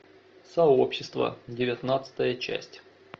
сообщество девятнадцатая часть